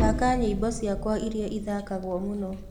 thaka nyĩmbo cĩakwaĩrĩa ĩthakagwo mũno